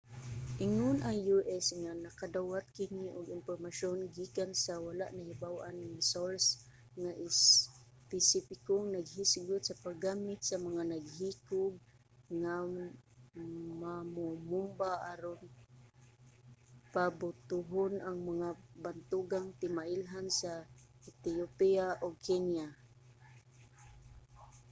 ingon ang u.s. nga nakadawat kini og impormasyon gikan sa wala nahibaw-an nga source nga espesipikong naghisgot sa paggamit sa mga naghikog nga mamomomba aron pabutohon ang mga bantugang timailhan sa ethiopia ug kenya